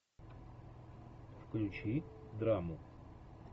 включи драму